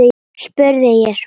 spurði ég svo.